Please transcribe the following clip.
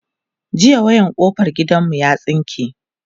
jiya wayan kofar gidan mu ya tsinke